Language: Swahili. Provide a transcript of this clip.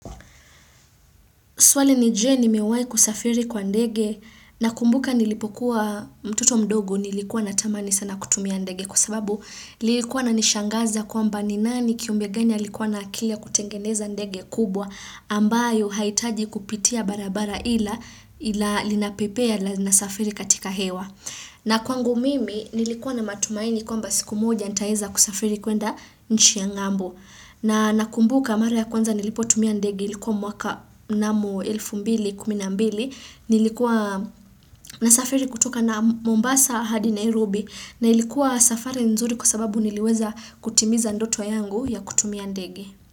Swali ni je nimewai kusafiri kwa ndege nakumbuka nilipokuwa mtoto mdogo nilikuwa natamani sana kutumia ndege kwa sababu nilikuwa na nishangaza kwamba ni nani kiumbe gani alikuwa na akili ya kutengeneza ndege kubwa ambayo haitaji kupitia barabara ila ila linapepea ila na safiri katika hewa. Na kwangu mimi nilikuwa na matumaini kwamba siku moja nitaeza kusafiri kuenda nchi ya ng'ambo. Na nakumbuka mara ya kwanza nilipotumia ndege nilikuwa mwaka mnamo 2012. Nilikuwa nasafiri kutoka na Mombasa, hadi, Nairobi na ilikuwa safari nzuri kwa sababu niliweza kutimiza ndoto yangu ya kutumia ndege.